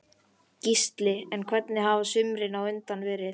Gísli: En hvernig hafa sumrin á undan verið?